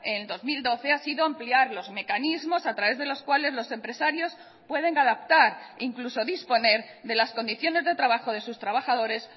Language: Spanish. en dos mil doce ha sido ampliar los mecanismos a través de los cuales los empresarios pueden adaptar incluso disponer de las condiciones de trabajo de sus trabajadores